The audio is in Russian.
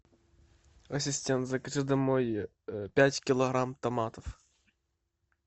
ассистент закажи домой пять килограмм томатов